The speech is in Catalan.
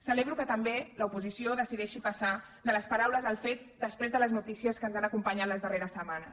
celebro que també l’oposició decideixi passar de les paraules als fets després de les notícies que ens han acompanyat les darreres setmanes